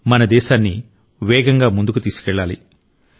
మన దేశాన్ని వేగంగా ముందుకు తీసుకెళ్లాలి